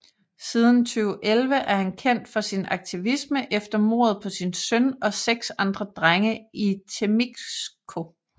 Siden 2011 er han kendt for sin aktivisme efter mordet på sin søn og seks andre drenge i Temixco